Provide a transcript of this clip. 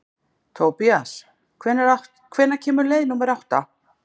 Tobías, hvenær kemur leið númer átta?